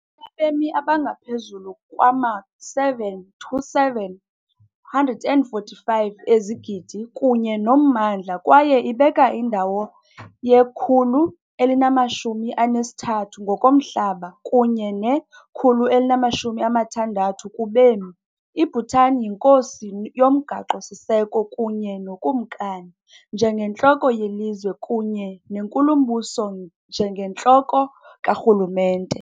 abemi abangaphezu kwama-727,145 kunye nommandla kwaye ibeka indawo ye-133 ngokomhlaba kunye ne-160 kubemi. I-Bhutan yinkosi yomgaqo-siseko kunye nokumkani njengentloko yelizwe kunye nenkulumbuso njengentloko karhulumente.